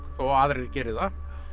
þó aðrir geri það